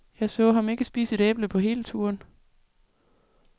Jeg så ham ikke spise et æble på hele turen.